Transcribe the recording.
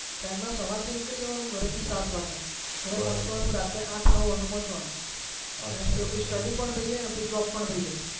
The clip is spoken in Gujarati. train માં સવારે થી નીકળી જવાનું ઘરે થી સાત વાગે ઘરે પહોચવાનું રાતે આઠ નવ વાગે પહોચાવાનું ત્યાં સુધીઆપડે STUDY પણ થઇ જાય આપડી job પણ થઇ જાય